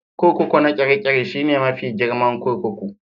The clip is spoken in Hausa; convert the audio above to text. Kurkuku na Kirikiri shine mafi girman kurkuku